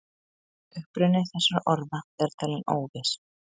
Uppruni þessara orða er talinn óviss.